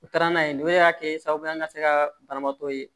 U taara n'a ye nin o de y'a kɛ sababu ye an ka se ka banabaatɔ ye